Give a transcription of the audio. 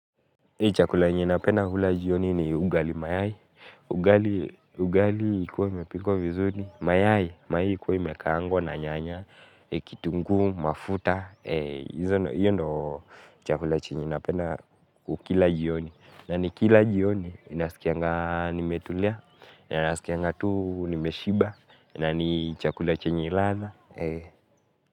Chakula yenye napenda kula jioni ni ugali mayai, ugali ikuwe imepikwa vizuri, mayai ikuwe imekaangwa na nyanya, kitungu, mafuta, hiyo ndo chakula chenye napenda ukila jioni. Na ni kila jioni, ninaskianga nimetulia, ninaskianga tu nimeshiba, na ni chakula chenye ladha.